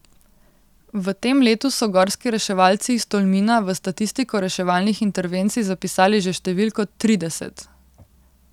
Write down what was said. V tem letu so gorski reševalci iz Tolmina v statistiko reševalnih intervencij zapisali že številko trideset.